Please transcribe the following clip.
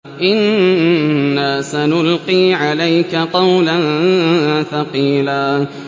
إِنَّا سَنُلْقِي عَلَيْكَ قَوْلًا ثَقِيلًا